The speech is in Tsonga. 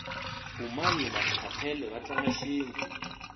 umanyi naskhathele vatlanga shintu